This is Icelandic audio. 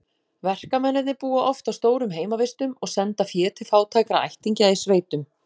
Verkamennirnir búa oft á stórum heimavistum og senda fé til fátækra ættingja í sveitum.